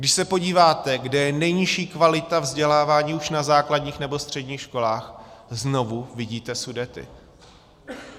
Když se podíváte, kde je nejnižší kvalita vzdělávání už na základních nebo středních školách, znovu vidíte Sudety.